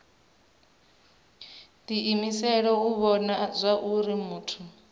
diimisela u vhona zwauri muthu